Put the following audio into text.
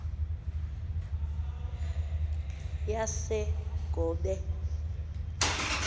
yasegobe